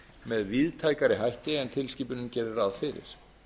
með víðtækari hætti en tilskipunin gerir ráð fyrir